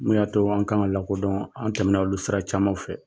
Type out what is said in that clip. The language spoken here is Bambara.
Mun y'a too an ka ŋa lakodɔɔn, an tɛmɛna olu sira camanw fɛ..